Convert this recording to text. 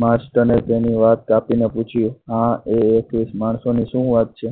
master એ તેની વાત કાપીને પૂછ્યું આ એકવીસ માણસોની શું વાત છે